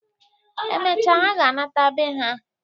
Emechaa ha ga-anata bee ha.